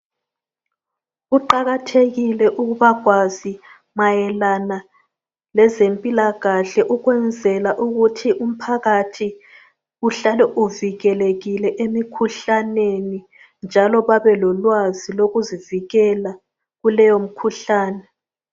Kuqakathekile ukuba kwazi mayelana lezempilakahle ukwenzela ukuthi umphakathi uhlale uvikelekile emikhuhlaneni njalo babe lolwazi lokuzivikela kuleyo mikhuhlane